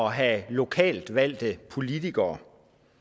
have lokalt valgte politikere